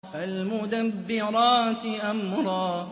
فَالْمُدَبِّرَاتِ أَمْرًا